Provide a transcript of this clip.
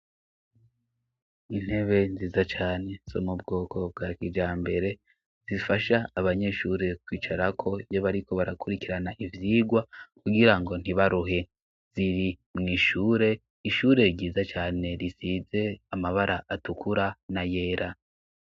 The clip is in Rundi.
Intebe nziza cane, zo mubwoko bwa kijambere, zifasha abanyeshuri kwicarako iyo bariko barakurikirana ivyigwa kugira ngo ntibaruhe, ziri mw'ishure, ishure ryiza cane risize amabara atukura n'ayera.